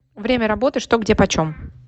время работы что где почем